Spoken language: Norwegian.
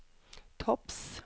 topps